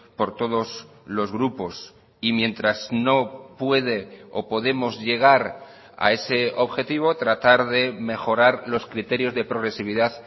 por todos los grupos y mientras no puede o podemos llegar a ese objetivo tratar de mejorar los criterios de progresividad